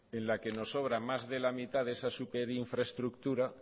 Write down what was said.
en la que nos sobra más de la mitad de esa superinfraestructura